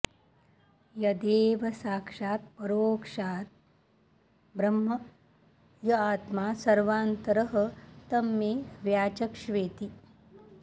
यदेव साक्षादपरोक्षाद् ब्रह्म य आत्मा सर्वान्तरः तं मे व्याचक्ष्वेति